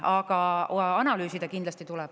Aga analüüsida kindlasti tuleb.